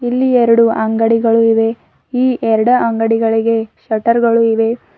ಇಲ್ಲಿ ಎರಡು ಅಂಗಡಿಗಳು ಇವೆ ಈ ಎರಡು ಅಂಗಡಿಗಳಿಗೆ ಶಟರ್ ಗಳು ಇವೆ.